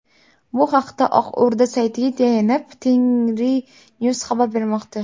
Bu haqda Oq O‘rda saytiga tayanib, TengriNews xabar bermoqda .